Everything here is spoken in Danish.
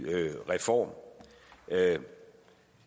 reform